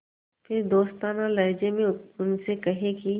फिर दोस्ताना लहजे में उनसे कहें कि